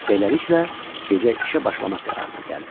Beləliklə, gecə işə başlamaq qərarına gəldilər.